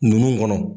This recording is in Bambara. Ninnu kɔnɔ